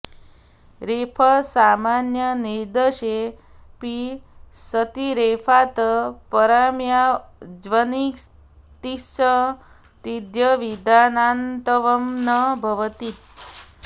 रेफसामान्यनिर्देशे ऽपि सति रेफात् परा या ऽज्भक्तिस् तद्व्यवधानान्नत्वं न भवति